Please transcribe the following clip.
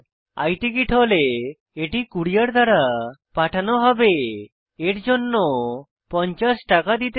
i ticket হলে এটি courier দ্বারা পাঠানো হবে এর জন্য 50 টাকা দিতে হবে